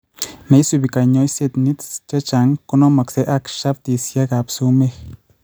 Neisibu kanyoisetet nits chechang' konomoksee ak shaftisiek ab sumeek